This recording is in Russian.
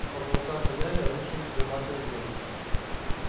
с потолка тоннеля рушились громадные глыбы